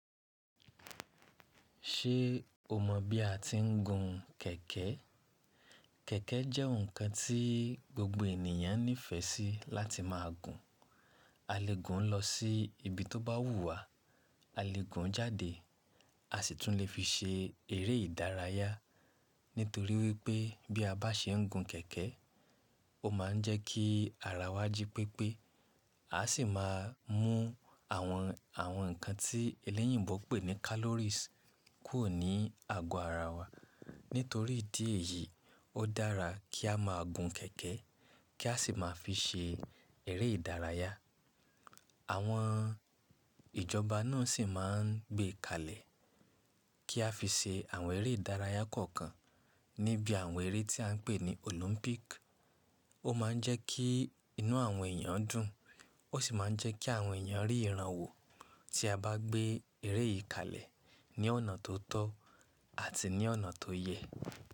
Ṣé o mọ̀ bí a ti ń gun kẹ̀kẹ́? Kẹ̀kẹ́ jẹ́ ǹkan tí gbogbo ènìyàn nífẹ̀ẹ́ sí láti máa gun. A lè gùn ún lọ sí ibi tó bá wù wá, a lè gùn ún jáde, a sì tún lè fi ṣe eré ìdárayá. Nítorí wípé bí a bá ṣe ń gun kẹ̀kẹ́, ó máa ń jẹ́ kí ara wa jí pépé, a sì máa mú àwọn ǹkan tí elẹ́yìn gbògbó pè ní calories kúrò ní àgọ́ ara wa. Nítorí ìdí èyí, ó dára kí a máa gun kẹ̀kẹ́ kí a sì máa fi ṣe eré ìdárayá. Àwọn ìjọba náà sì máa ń gbé kalẹ̀ kí a fi ṣe àwọn eré ìdárayá kọ̀ọ̀kan níbi àwọn eré tí à ń pè ní Olympic. Ó ma ń jẹ́ kí inú àwọn èèyàn dùn, ó sì ma ń jẹ́ kí àwọn èèyàn rí ìrànwọ́ tí a bá gbé eré yìí kalẹ̀ ní ọ̀nà tó tọ́ àti ní ọ̀nà tó yẹ.